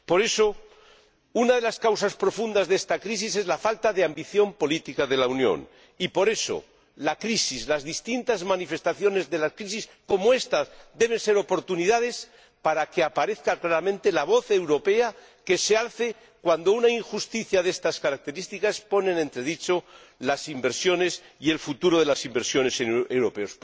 Por eso, una de las causas profundas de esta crisis es la falta de ambición política de la Unión, por lo que la crisis, las distintas manifestaciones de la crisis que nos ocupa, deben ser oportunidades para que se alce claramente la voz europea cuando una injusticia de estas características pone en entredicho las inversiones y el futuro de las instituciones europeas.